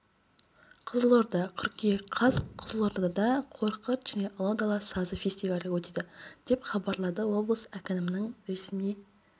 қызылорда қыркүйек қаз қызылордада қорқыт және ұлы дала сазы фестивалі өтеді деп хабарлады облыс әкімінің ресми